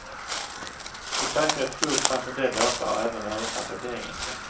För säkerhets skull fanns en del låtar även översatta till engelska.